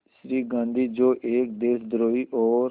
श्री गांधी जो एक देशद्रोही और